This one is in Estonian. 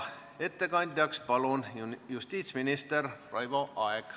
Ettekandjaks palun justiitsminister Raivo Aegi.